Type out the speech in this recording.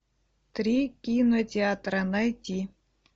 три кинотеатра найти